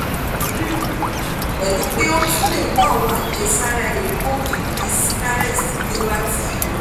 three um pẹlupẹ̀ o tún lè mu àwọn àjẹsára egbòogi bíi sinarest bí ó bá ti yẹ